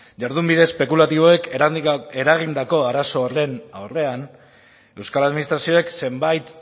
jardunbide espekulatiboek eragindako arazo horren aurrean euskal administrazioek zenbait